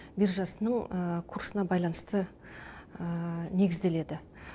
биржасының курсына байланысты негізделеді